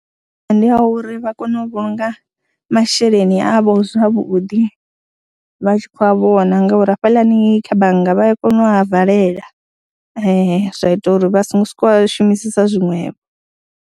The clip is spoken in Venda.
Ndi ya uri vha kone u vhulunga masheleni avho zwavhuḓi vha tshi khou a vhona ngauri hafhaḽani kha bannga vha ya kona u a valela, zwa ita uri vha songo sokou a shumisesa zwiṅwevho.